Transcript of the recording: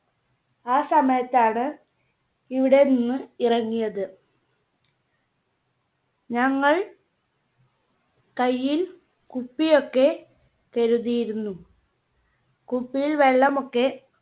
ആ സമയത്താണ് ഇവിടെ നിന്ന് ഇറങ്ങിയത്. ഞങ്ങൾ കൈയിൽ കുപ്പി ഒക്കെ കരുതിയിരുന്നു. കുപ്പിയിൽ വെള്ളം ഒക്കെ